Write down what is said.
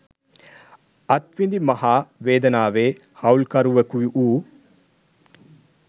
අත් විඳි මහා වේදනාවේ හවුල්කරුවකු වූ